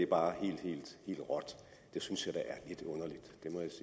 bare det hele råt det synes